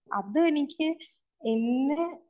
അത് എനിക്ക് എന്നെ